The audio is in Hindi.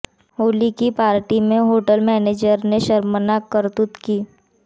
होली की पार्टी में होटल मैनेजर ने शर्मनाक करतूत ली